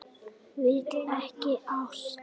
Vill ekki ást.